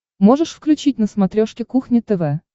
можешь включить на смотрешке кухня тв